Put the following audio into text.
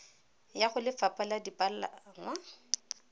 ya go lefapha la dipalangwa